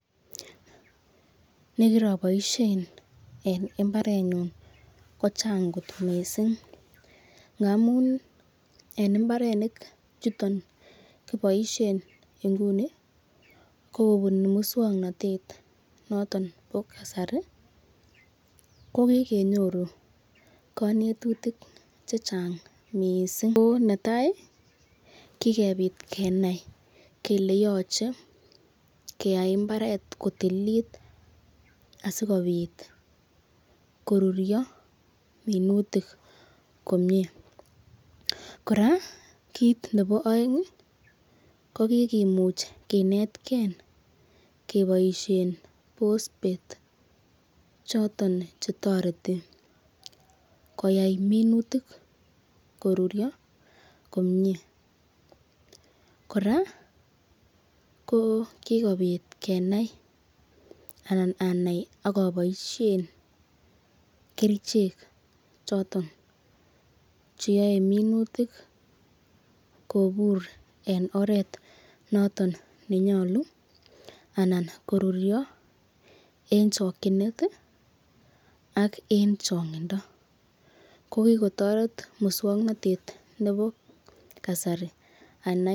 Nekiraboishen eng mbaren nyun ko chang kot mising ngamun en mbarenik chuton kiboishen nguni kobunu muswongnotet noton bo kasari kokikenyoru konetutik che chang mising ko netai kikebit kenai kele yochei keyai mbaret kotililit asikobit korurio minutik komie Kora kiit nebo oeng ko kikemuch kenetkei keboishen pospet choton chetoreti koyai minutik korurio komie kora ko kikobit kenai anan anai akoboishen kerchek choton cheyoei minutik kobur en oret noton nenyolu anan korurio eng chokchinet ak eng chong'indo ko kikotoret muswongnotet nebo kasari anai.